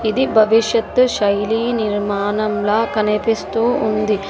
ఇది భవిష్యత్తు శైలి నిర్మాణంలో కనిపిస్తూ ఉంది.